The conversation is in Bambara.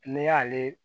N'i y'ale